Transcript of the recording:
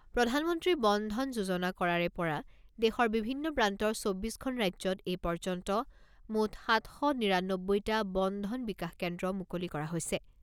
প্ৰধানমন্ত্ৰী বন ধন যোজনা কৰাৰে পৰা দেশৰ বিভিন্ন প্ৰান্তৰ চৌব্বিছ খন ৰাজ্যত এই পৰ্যন্ত মুঠ সাত শ নিৰানব্বৈটা বন ধন বিকাশ কেন্দ্ৰ মুকলি কৰা হৈছে।